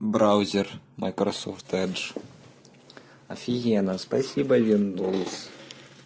браузер майкрософт эдж офигенно спасибо виндовс